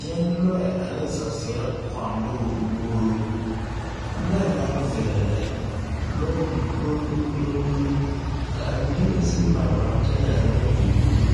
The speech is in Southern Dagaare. Kyɛ lɔɛ ane saseɛ kɔŋ doŋ wuoro lɔɛ naŋ veɛlɛ lɛ lɔɛ poroŋdom poroŋdom ka a mine meŋ sige mare tiŋɛ a nyɛ kurikuri